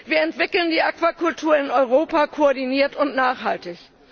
Wir entwickeln die Aquakultur in Europa koordiniert und nachhaltig.